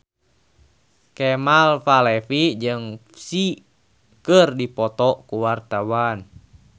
Kemal Palevi jeung Psy keur dipoto ku wartawan